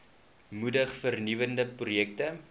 moedig vernuwende projekte